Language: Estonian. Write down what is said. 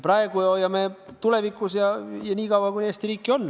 Praegu hoiame ja tulevikus ka, nii kaua, kui Eesti riiki on.